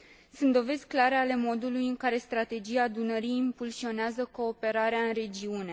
Sunt dovezi clare ale modului în care Strategia Dunării impulsionează cooperarea în regiune.